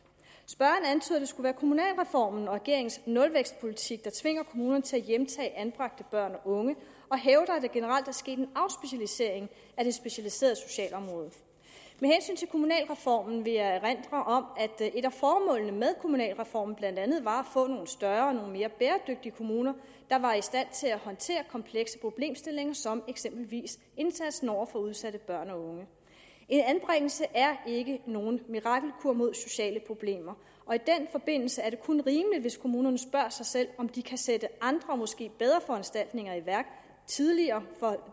spørgeren antyder at det skulle være kommunalreformen og regeringens nulvækstpolitik der tvinger kommunerne til at hjemtage anbragte børn og unge og hævder at der generelt er sket en afspecialisering af det specialiserede socialområde med hensyn til kommunalreformen vil jeg erindre om at et af formålene med kommunalreformen blandt andet var at få nogle større og mere bæredygtige kommuner der var i stand til at håndtere komplekse problemstillinger som eksempelvis indsatsen over for udsatte børn og unge en anbringelse er ikke nogen mirakelkur mod sociale problemer og i den forbindelse er det kun rimeligt hvis kommunerne spørger sig selv om de kan sætte andre måske bedre foranstaltninger i værk tidligere for